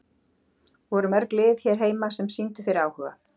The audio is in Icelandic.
Voru mörg lið hér heima sem sýndu þér áhuga?